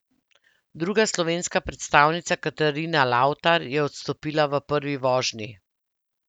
Druga slovenska predstavnica Katarina Lavtar je odstopila v prvi vožnji.